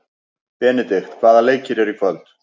Benidikt, hvaða leikir eru í kvöld?